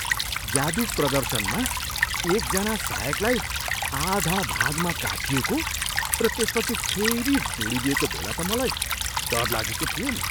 जादु प्रदर्शनमा एकजना सहायकलाई आधा भागमा काटिएको र त्यसपछि फेरि जोडिदिएको बेला त मलाई डर लागेको थियो नि।